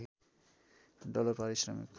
dollar पारिश्रमिक